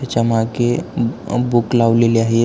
याच्या मागे बूक लावलेली आहे.